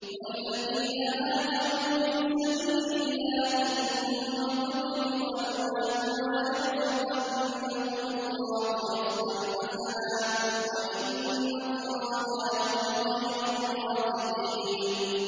وَالَّذِينَ هَاجَرُوا فِي سَبِيلِ اللَّهِ ثُمَّ قُتِلُوا أَوْ مَاتُوا لَيَرْزُقَنَّهُمُ اللَّهُ رِزْقًا حَسَنًا ۚ وَإِنَّ اللَّهَ لَهُوَ خَيْرُ الرَّازِقِينَ